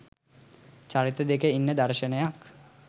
චරිත දෙක ඉන්න දර්ශනයක්.